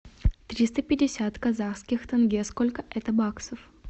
триста пятьдесят казахских тенге сколько это баксов